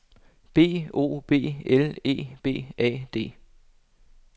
B O B L E B A D